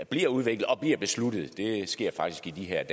bliver udviklet og bliver besluttet det sker faktisk i de her